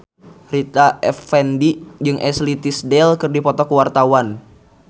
Rita Effendy jeung Ashley Tisdale keur dipoto ku wartawan